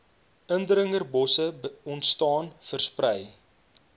indringerbosse ontstaan versprei